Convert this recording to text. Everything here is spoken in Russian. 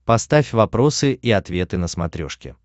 поставь вопросы и ответы на смотрешке